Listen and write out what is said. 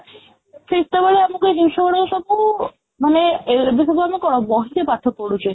ସେତେବେଳେ ଆମକୁ ଏ ଜିନିଷ ଗୁଡାକ ସବୁ ମାନେ ଏବେ ସବୁ କ'ଣ ବହିରେ ପାଠ ପଢ଼ୁଛେ